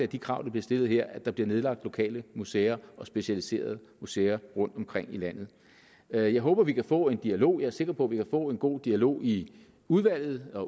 de krav der bliver stillet her at der bliver nedlagt lokale museer og specialiserede museer rundtomkring i landet jeg jeg håber vi kan få en dialog jeg er sikker på vi kan få en god dialog i udvalget og